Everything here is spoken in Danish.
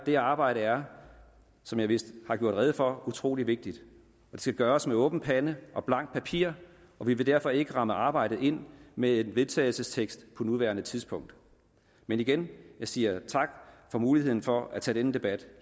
det arbejde er som jeg vist har gjort rede for utrolig vigtigt og det skal gøres med åben pande og blankt papir og vi vil derfor ikke ramme arbejdet ind med en vedtagelsestekst på nuværende tidspunkt men igen jeg siger tak for muligheden for at tage denne debat